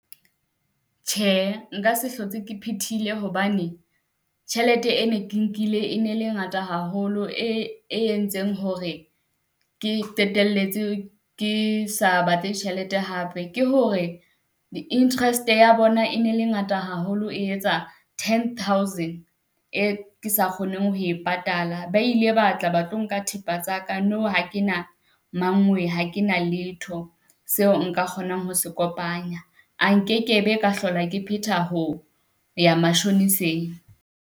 Tjhe nka se hlotse ke phethile hobane, tjhelete e ne ke nkile e ne le ngata haholo. E entseng hore ke qetelletse ke sa batle tjhelete hape ke hore di-interest ya bona e ne le ngata haholo, e etsa ten thousand. E ke sa kgoneng ho e patala ba ile ba tla ba tlo nka thepa tsaka, nou ha kena mang wee, ha ke na letho. Seo nka kgonang ho se kopanya, a nkekebe ka hlola ke petha ho ya mashoniseng.